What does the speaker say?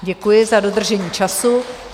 Děkuji za dodržení času.